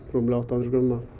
rúmlega átta hundruð grömm